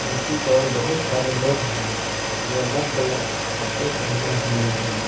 नीचे की और बहुत सारे लोग हैं जो अलग भलग कपड़े पहने हुए हैं।